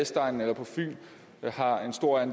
tror jeg